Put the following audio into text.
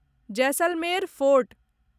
Jaisalmer fort